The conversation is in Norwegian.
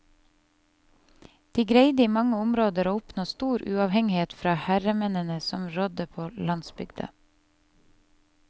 De greide i mange områder å oppnå stor uavhengighet fra herremennene som rådde på landsbygda.